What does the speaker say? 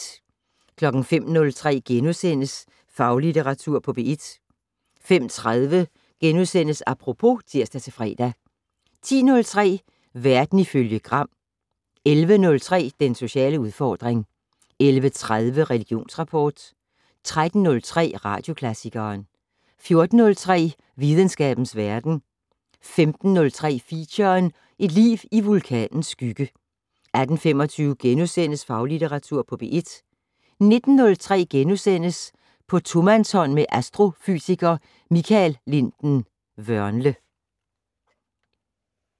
05:03: Faglitteratur på P1 * 05:30: Apropos *(tir-fre) 10:03: Verden ifølge Gram 11:03: Den sociale udfordring 11:30: Religionsrapport 13:03: Radioklassikeren 14:03: Videnskabens Verden 15:03: Feature: Et liv i vulkanens skygge 18:25: Faglitteratur på P1 * 19:03: På tomandshånd med astrofysiker Michael Linden-Vørnle *